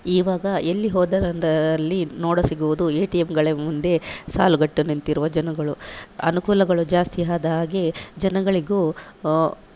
ಇವಾಗ ಎಲ್ಲಿ ಹೋದರಂದಾಲ್ಲಿ ನೋಡಸಿಗುವುದು ಎ_ಟಿ_ಎಂ ಗಳ ಮುಂದೆ ಸಾಲುಗಟ್ಟು ನಿಂತಿರುವ ಜನಗಳು. ಅನುಕೂಲಗಳು ಜಾಸ್ತಿ ಆದ ಹಾಗೆ ಜನಗಳಿಗೂ ಒ--